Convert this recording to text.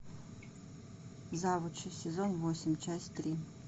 завучи сезон восемь часть три